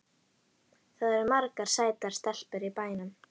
Það eru margar sætar stelpur í bænum.